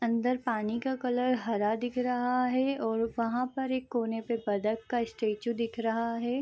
अंदर पानी का कलर हरा दिख रहा है और वहाँ पर एक कोने पे बतख का स्टैचू दिख रहा है।